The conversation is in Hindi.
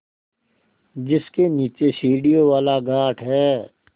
जिसके नीचे सीढ़ियों वाला घाट है